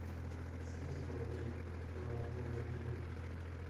скинь сто рублей на номер димы